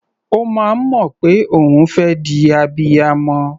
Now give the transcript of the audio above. Ó máa ń mọ̀ pé òun fẹ́ di abiyamọ.